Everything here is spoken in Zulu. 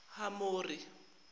hamori